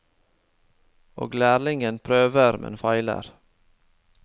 Og lærlingen prøver, men feiler.